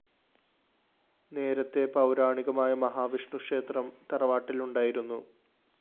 നേരത്തെ പൗരാണികമായ മഹാവിഷ്ണു ക്ഷേത്രം തറവാട്ടില്‍ ഉണ്ടായിരുന്നു